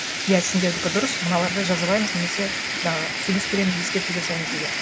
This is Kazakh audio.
иә сендердікі дұрыс мыналарды жазалаймыз немесе жаңағы сөгіс береміз ескерту жасаймыз деген